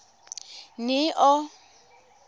neo